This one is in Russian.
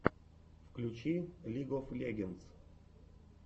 включи лиг оф легендс